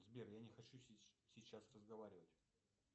сбер я не хочу сейчас разговаривать